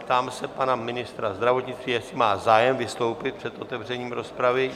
Ptám se pana ministra zdravotnictví, jestli má zájem vystoupit před otevřením rozpravy.